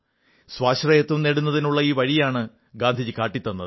സ്വാശ്രയത്വം നേടുന്നതിനുള്ള ഈ വഴിയാണ് ഗാന്ധിജി കാട്ടിത്തന്നത്